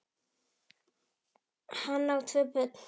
Hann á tvö börn.